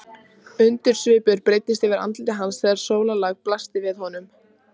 Undrunarsvipur breiddist yfir andlit hans þegar sólarlagið blasti við honum.